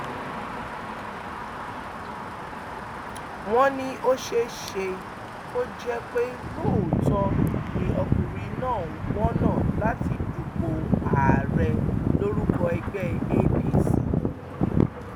wọn ní ó ṣeé ṣe kó jẹ pé lóòótọ ni ọkùnrin náà ń wọnà láti dupò ààrẹ lórúkọ ẹgbẹ apc